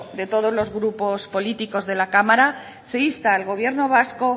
de todos los grupos políticos de la cámara se insta al gobierno vasco